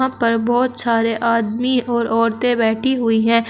यहां पर बहोत सारे आदमी और औरतें बैठी हुई है।